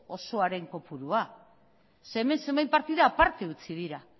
osoaren kopurua zeren hemen zenbait partida aparte utzi dira